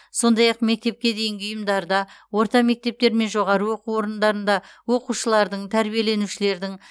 сондай ақ мектепке дейінгі ұйымдарда орта мектептер мен жоғары оқу орындарында оқушылардың тәрбиеленушілердің